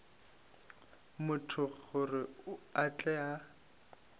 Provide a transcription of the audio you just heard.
motho gore a tle a